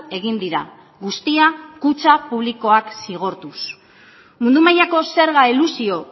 egin dira guztia kutxa publikoak zigortuz mundu mailako zerga elusio